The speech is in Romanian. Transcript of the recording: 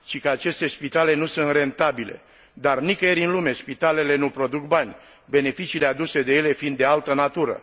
Cică aceste spitale nu sunt rentabile, dar nicăieri în lume spitalele nu produc bani, beneficiile aduse de ele fiind de altă natură.